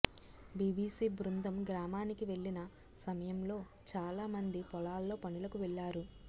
BBC బృందం గ్రామానికి వెళ్లిన సమయంలో చాలా మంది పొలాల్లో పనులకు వెళ్లారు